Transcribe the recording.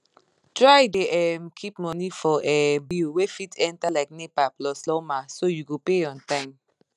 try dey um keep money for um bill wey fit enter like nepa plus lawma so you go pay on time